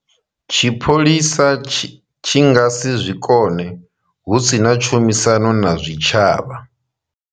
Tshipholisa tshi nga si zwi kone hu si na tshumisano na zwitshavha.